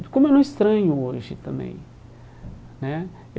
Como eu não estranho hoje também né.